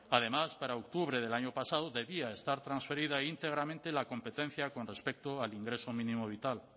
además para octubre del año pasado debía estar transferida íntegramente la competencia con respecto al ingreso mínimo vital